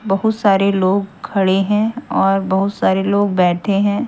बहुत सारे लोग खड़े हैं और बहुत सारे लोग बैठे हैं।